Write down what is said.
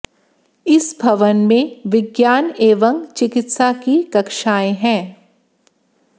इस भवन में विग्यान एवं चिकित्सा की कक्षाएं हैं